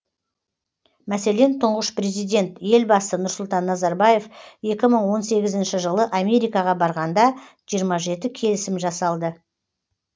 мәселен тұңғыш президент елбасы нұрсұлтан назарбаев екі мың он сегізінші жылы америкаға барғанда жиырма жеті келісім жасалды